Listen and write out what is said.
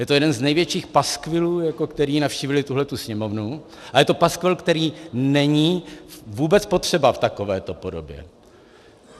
Je to jeden z největších paskvilů, které navštívily tuhletu Sněmovnu, a je to paskvil, který není vůbec potřeba v takovéto podobě.